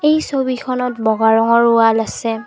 এই ছবিখনত বগা ৰঙৰ ৱাল আছে।